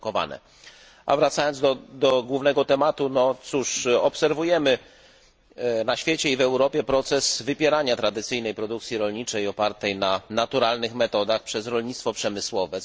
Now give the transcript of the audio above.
A wracając do głównego tematu no cóż, obserwujemy na świecie i w Europie proces wypierania tradycyjnej produkcji rolniczej opartej na naturalnych metodach przez rolnictwo przemysłowe.